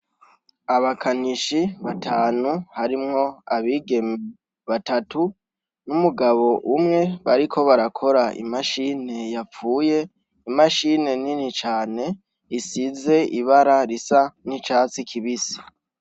Abakanishi batanu, harimwo abigeme batatu n'umugabo umwe, bariko barakora i mashini yapfuye, imashini nini cane isize ibara risa n'icatsi kibisi.